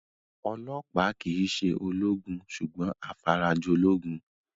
Ọlọ́ọ̀pá kìí se ológun sùgbọ́n afarajolúgun